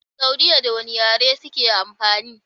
Saudiya da wane yare suke amfani?